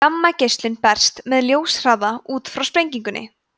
gammageislarnir berast með ljóshraða út frá sprengingunni